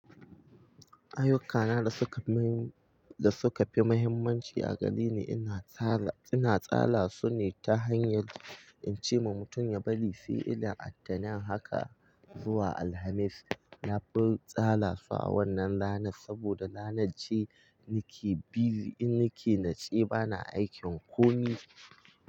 Ayyuka na da suka fi mahimmanci a gareni ina tara ina tsala su ne ta hanyar in ce ma mutum ya bari sai ina attaanin haka zuwa Alhamis. Na fi tsala su a wannan ranar saboda ranar ce nake busy in nake natsec bana aikin komi.